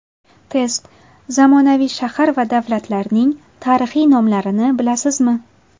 Test: Zamonaviy shahar va davlatlarning tarixiy nomlarini bilasizmi?.